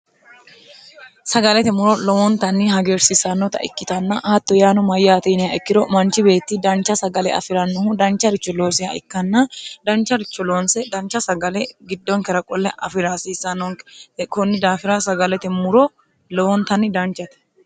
sagalete muro lowoontanni hageersiisannota ikkitanna hatto yaano mayyaatiinia ikkiro manchi beetti dancha sagale afi'rannohu dancha richo loosiha ikkanna dancha richoloonse dancha sagale giddonkera qolle afi'raasiissanonke kunni daafira sagalete muro lowoontanni danchate